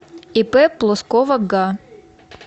ип плоскова га